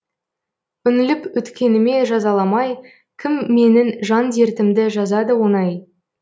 үңіліп өткеніме жазаламай кім менің жан дертімді жазады оңай